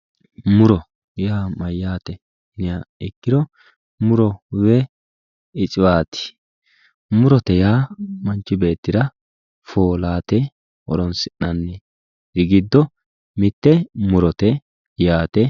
Muro yaa mayate yinniha ikkiro muro woyi isiwati yaa manchi beettira foolate horonsi'nanni giddo mite murote yaate.